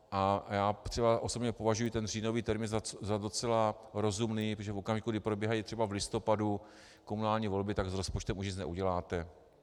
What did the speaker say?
A já třeba osobně považuji ten říjnový termín za docela rozumný, protože v okamžiku, kdy probíhají třeba v listopadu komunální volby, tak s rozpočtem už nic neuděláte.